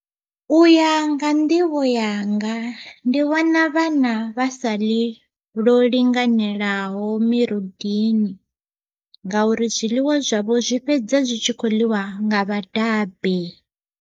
Uya nga nḓivho yanga ndi vhona vhana vha sa ḽi lwo linganelaho mirudini nga uri zwiḽiwa zwavho zwi fhedza zwi tshi kho ḽiwa nga vhadabe.